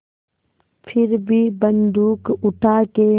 फिर भी बन्दूक उठाके